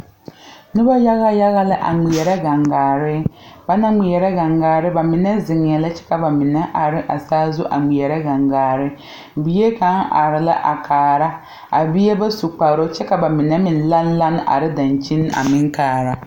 Noba yaga yaga la a ŋmeɛrɛ gaŋgare ba naŋ ŋmeɛrɛ a gaŋgaare ba mine ziŋɛɛ la kyɛ ka ba mine are saazu a ŋmeɛrɛ gaŋgaare bie kaŋa are a kaara a bie ba su kparoŋ kyɛ ka ba mine meŋ lane lane are dankyini a meŋ kaara.